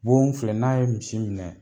Bon filɛ n'a ye misi minɛ.